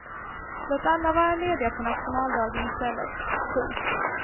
Låt alla vara lediga på nationaldagen i stället. punkt